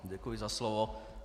Děkuji za slovo.